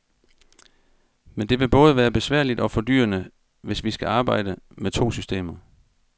Men det vil både være besværligt og fordyrende, hvis vi skal arbejde med to systemer.